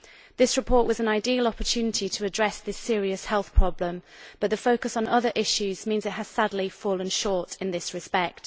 This report was an ideal opportunity to address this serious health problem, but the focus on other issues means it has sadly fallen short in this respect.